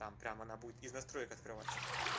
там прямо она будет из настроек открываться